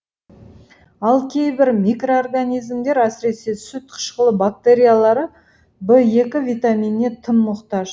ал кейбір микроорганизмдер әсіресе сүт қышқылы бактериялары в екі витаминіне тым мұқтаж